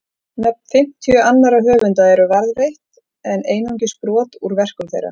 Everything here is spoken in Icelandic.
Nöfn fimmtíu annarra höfunda eru varðveitt en einungis brot úr verkum þeirra.